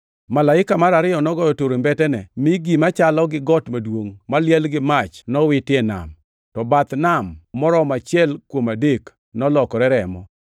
Malaika mar ariyo nogoyo turumbetene, mi gima chalo gi got maduongʼ, maliel gi mach, nowiti e nam. To bath nam moromo achiel kuom adek nolokore remo,